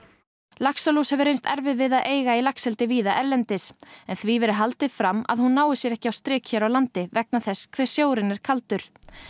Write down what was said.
laxalús hefur reynst erfið við að eiga í laxeldi víða erlendis en því verið haldið fram að hún nái sér ekki á strik hér á landi vegna þess hve sjórinn er kaldur